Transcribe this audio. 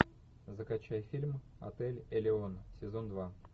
закачай фильм отель элеон сезон два